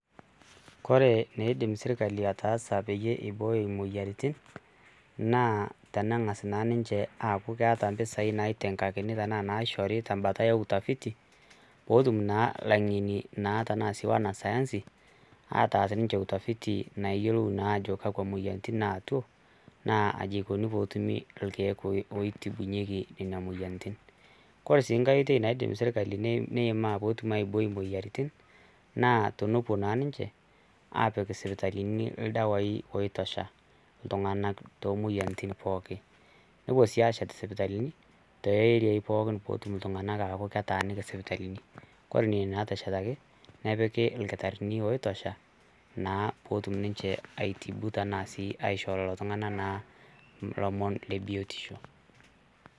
Kore neidim sirkali ataasa peyie eibooyo i oyiarritin naa teneng'as naa ninche aaku mpesaii naiteng'akini anaa naishori te mbata eutafiti peetum naa laing'eni tenaa naa wnasayansi ataas ninche utafiti nayiolou naa aajo kakwa moyiarritin naeito naa kaji eikoni peyie wtumi irkiek oitibunyeki nenia moyiarritin, kore sii inkae oitoi naidim sirkali neimaa peetum aibooi moyiarritin naa tenepo naa ninche aapik sipitalini irdawaii ltunganak too moyiarritin pookin, nepo sii aashet sipitalini te eriaii pookin peetum ltungana aaku ketaaniki sipitalini, kore nenia naateshetaki nepiki irkitarini oitosha naa peetum ninche aitibu tanaa sii aisho lelo tungana naa ilomon le biotisho.